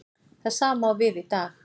Það sama á við í dag.